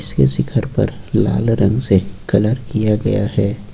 से घर पर लाल रंग से कलर किया गया है।